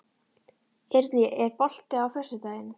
Eirný, er bolti á föstudaginn?